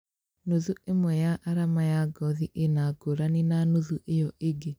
Nuthũ ĩmwe ya arama ya ngothi ĩna ngĩrani na nuthũ ĩyo ĩngĩ